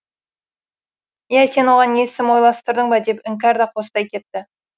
иә сен оған есім ойластырдың ба деп іңкәрда қостай кетті